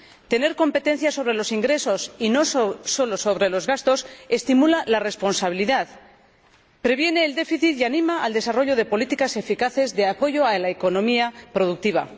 Tener competencia sobre los ingresos y no solo sobre los gastos estimula la responsabilidad, previene el déficit y anima al desarrollo de políticas eficaces de apoyo a la economía productiva.